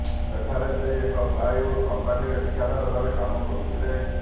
ସେଠାରେ ସେ ଏକ ପ୍ଲାଏ ଉଡ଼୍ କମ୍ପାନିରେ ଠିକାଦାର ଭାବେ କାମ କରୁଥିଲେ